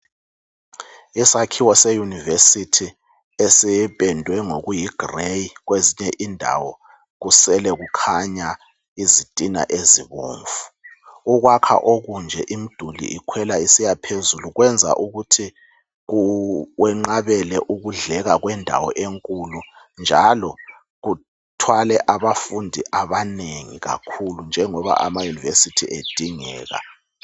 Isakhiwo seyunivesithi esipendwe ngokuyigrey kwezinye indawo kusele kukhanya izitina ezibomvu. Ukwakha okunje imiduli ikhwela isiya phezulu kwenza ukuthi kwenqabele ukudleka kwendawo enkulu njalo kuthwale abafundi abanengi kakhulu njengoba amayunivesithi edingeka.